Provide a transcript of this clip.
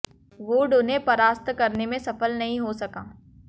would उन्हें परास्त करने में सफल नहीं हो सका